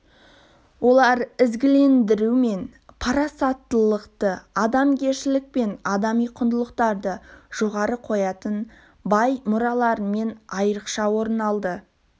олар ізгілендіру мен парасаттылықты адамгершілік пен адами құндылықтарды жоғары қоятын бай мұраларымен айрықша орын алады